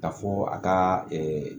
Ka fɔ a ka